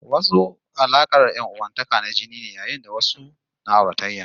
Wasu alaƙar ƴan'uwantakar na jini ne, yayin da wasu na auratayya ne